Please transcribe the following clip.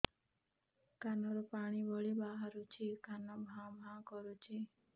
କାନ ରୁ ପାଣି ଭଳି ବାହାରୁଛି କାନ ଭାଁ ଭାଁ କରୁଛି